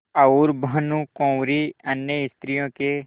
और भानुकुँवरि अन्य स्त्रियों के